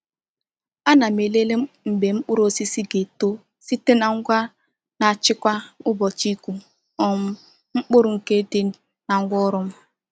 A na m elele mgbe mkpụrụ osisi ga-eto site na ngwa na-achịkwa ụbọchị ịkụ um mkpụrụ nke dị na ngwaọrụ m.